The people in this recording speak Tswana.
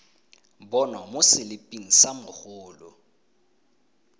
bonwa mo seliping sa mogolo